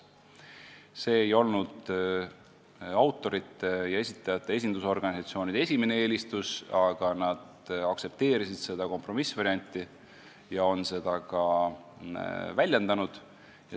See ei olnud autorite ja esitajate esindusorganisatsioonide esimene eelistus, aga nad aktsepteerisid seda kompromissvarianti ja on seda ka väljendanud.